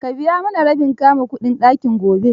Ka biya mana rabin kudin kama ɗakin gobe.